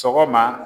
Sɔgɔma